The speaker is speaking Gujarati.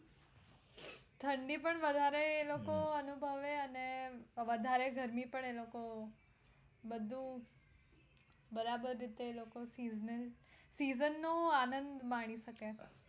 ઠંડી પણ વધારે એ લોકો અનુભવે અને વધારે ગરમી પડે એ લોકો બધું બરાબર રીતે એ લોકો season નો આનંદ માણી શકે.